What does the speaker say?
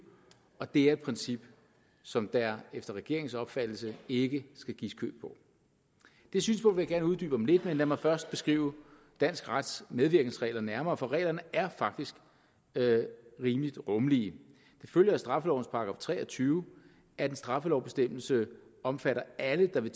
og det er et princip som der efter regeringens opfattelse ikke skal gives køb på det synspunkt vil jeg gerne uddybe om lidt men lad mig først beskrive dansk rets medvirkensregler nærmere for reglerne er faktisk rimelig rummelige det følger af straffelovens § tre og tyve at en straffelovsbestemmelse omfatter alle der ved